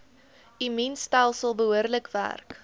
immuunstelsel behoorlik werk